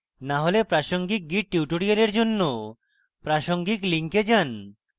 না হলে প্রাসঙ্গিক git tutorials জন্য প্রদর্শিত link যান